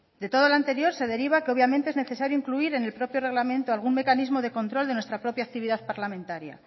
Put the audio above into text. de todo lo anterior se deriva que obviamente es necesario incluir en el propio reglamento algún mecanismo de control de nuestra propia actividad parlamentaria